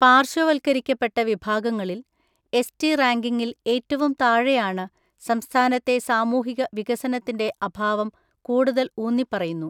പാർശ്വവൽക്കരിക്കപ്പെട്ട വിഭാഗങ്ങളിൽ, എസ്.റ്റി റാങ്കിങ്ങിൽ ഏറ്റവും താഴെയാണ്, സംസ്ഥാനത്തെ സാമൂഹിക വികസനത്തിൻ്റെ അഭാവം കൂടുതൽ ഊന്നിപ്പറയുന്നു.